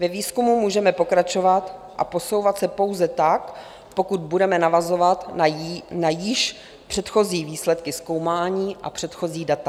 Ve výzkumu můžeme pokračovat a posouvat se pouze tak, pokud budeme navazovat na již předchozí výsledky zkoumání a předchozí data.